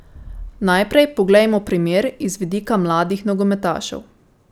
Najprej poglejmo primer iz vidika mladih nogometašev.